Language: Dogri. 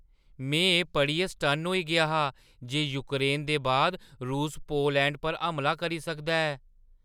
में एह् पढ़ियै सटन्न होई गेआ हा जे यूक्रेन दे बाद रूस पोलैंड पर हमला करी सकदा ऐ।